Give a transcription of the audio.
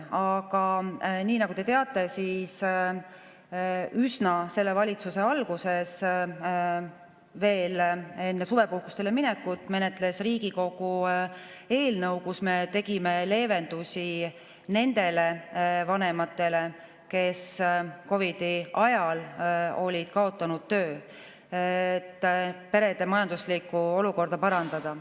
Aga nii nagu te teate, üsna selle valitsuse alguses, veel enne suvepuhkusele minekut menetles Riigikogu eelnõu, kus me nendele vanematele, kes COVID‑i ajal olid kaotanud töö, tegime leevendusi, et perede majanduslikku olukorda parandada.